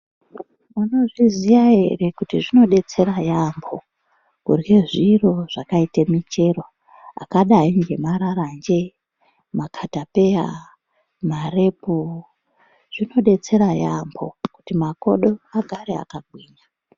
Munozviziya ere kuti zvinodetsera yaambho kurhye zviro zvakaite michero zvakadai ngemararanje, makatapeya, marepu zvinodetsera yaambho kuti makodo agare akagwinya.